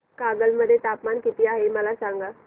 कागल मध्ये तापमान किती आहे मला सांगा